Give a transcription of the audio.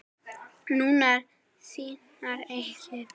Nú, sínar eigin.